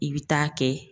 I bɛ taa kɛ